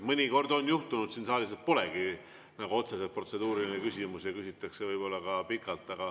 Mõnikord on juhtunud, et siin saalis polegi otseselt protseduurilisi küsimusi, aga küsitakse ikka pikalt.